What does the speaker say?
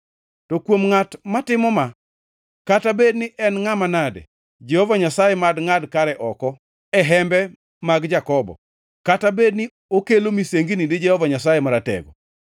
To kuom ngʼat matimo ma, kata bed ni en ngʼama nade, Jehova Nyasaye mad ngʼad kare oko e hembe mag Jakobo, kata bed ni okelo misengini ni Jehova Nyasaye Maratego.